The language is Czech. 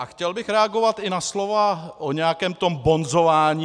A chtěl bych reagovat i na slova o nějakém tom bonzování.